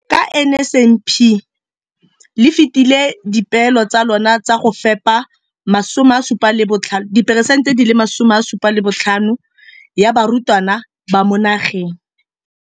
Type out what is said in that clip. Ka NSNP le fetile dipeelo tsa lona tsa go fepa masome a supa le botlhano a diperesente ya barutwana ba mo nageng.